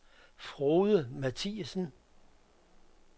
Frode Mathiesen